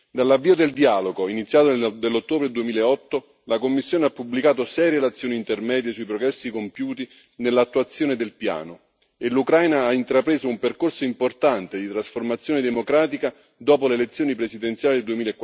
Dall'avvio del dialogo, iniziato nell'ottobre 2008, la Commissione ha pubblicato 6 relazioni intermedie sui progressi compiuti nell'attuazione del piano e l'Ucraina ha intrapreso un percorso importante di trasformazione democratica dopo le elezioni presidenziali del